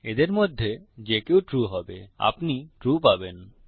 এদের মধ্যে যে কেউ ট্রু হবে আপনি ট্রু পাবেন